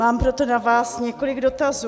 Mám proto na vás několik dotazů.